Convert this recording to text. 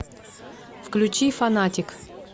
включи фанатик